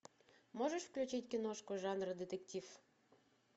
можешь включить киношку жанра детектив